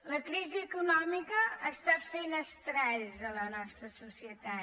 la crisi econòmica fa estralls a la nostra societat